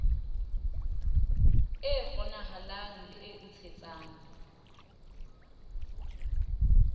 e kgonahalang le e ntshetsang